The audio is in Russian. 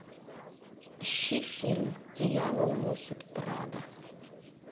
ищи фильм дьявол носит прада